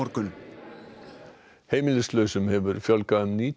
heimilislausum hefur fjölgað um níutíu og fimm prósent